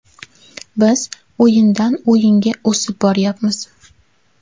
Biz o‘yindan o‘yinga o‘sib boryapmiz.